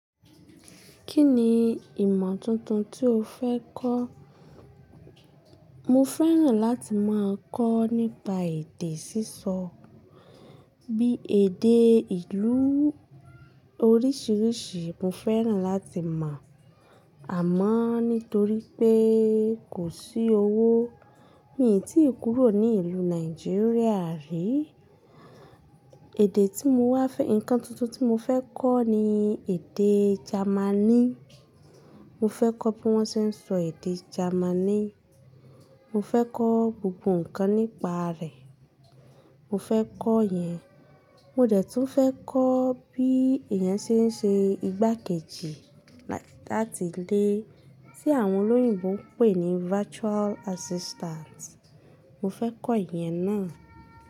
Kí ni ìmọ̀ tuntun tí mo fẹ́ kọ́? Mo fẹ́ràn láti máa kọ́ nípa èdè sísọ, bí i èdè ìlú oríṣiríṣi. Mo fẹ́ràn láti mọ̀, àmọ́ nítorí pé kò sí owó, mi ò tí ì kúrò ní ìlú Nàìjíríà rí. Ẹ̀dẹ̀ tí mo wá fẹ́ ǹkan tuntun tí mo fẹ́ kọ́ ni èdè Jamaní. Mo fẹ́ kọ́ bí wọ́n ṣe ń sọ èdè Jamaní. Mo fẹ́ kọ́ gbogbo ǹkan nípa rẹ̀. Mo fẹ́ kọ́ ìyẹn. Mo dẹ̀ tún fẹ́ kọ́ bí èèyàn ṣe ń ṣe igbákejì láti ilè, tí àwọn olóyìnbo ń pè ní virtual assistant. Mo fẹ́ kọ́ ìyẹn náà.